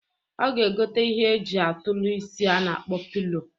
Ọ ga-egota ihe e ji atụlụ isi a na-akpọ pilo.